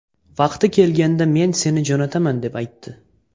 Vaqti kelganda men seni jo‘nataman deb aytdi.